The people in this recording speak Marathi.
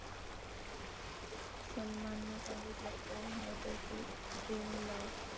सलमाननं सांगितलं कोण आहे त्याची ड्रीमलव्ह?